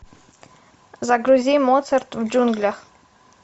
загрузи моцарт в джунглях